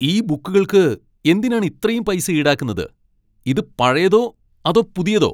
ഈ ബുക്കുകൾക്ക് എന്തിനാണ് ഇത്രയും പൈസ ഈടാക്കുന്നത്? ഇത് പഴയതോ അതോ പുതിയതോ?